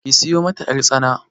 Ki sayo mata ƴartsana.